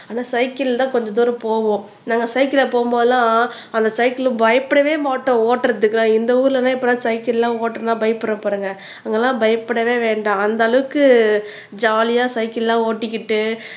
ஆனா சைக்கிள்ல தான் கொஞ்ச தூரம் போவோம் நாங்க சைக்கிள்ல போகும் போதெல்லாம் அந்த சைக்கிள் பயப்படவே மாட்டோம் ஓட்டுறதுக்கு இந்த ஊர்ல தான் இப்ப தான் சைக்கிள் எல்லாம் ஓட்டணும்னா பயப்பட போறாங்க அங்கெல்லாம் பயப்படவே வேண்டாம் அந்த அளவுக்கு ஜாலியா சைக்கிள்லாம் ஓட்டிக்கிட்டு